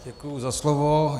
Děkuji za slovo.